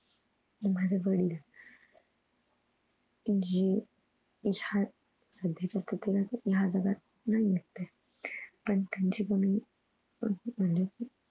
माझे वडील जे ह्या सध्याच्या स्थितीत ह्या जगात नाही आहेत ते पण त्यांची उणीव म्हणजे